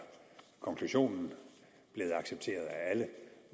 konklusionen blevet accepteret af alle